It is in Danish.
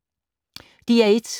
DR1